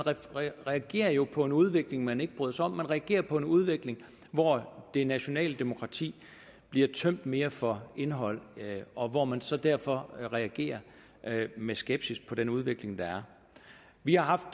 reagerer jo på en udvikling man ikke bryder sig om man reagerer på en udvikling hvor det nationale demokrati bliver tømt mere for indhold og hvor man så derfor reagerer med skepsis på den udvikling der er vi har haft